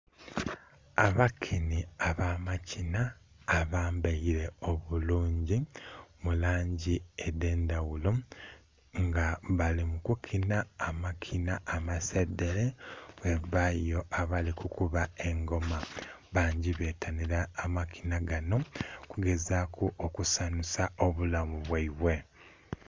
Abakinhi aba makinha abambaire obulungi mu langi edhe ndhaghulo nga bali mu kukinha amakinha amasedhere ghabayo abali kukuba engoma. Bangi betanhira amakinha ganho okugezaku okusanhusa obulamu bwaibwe.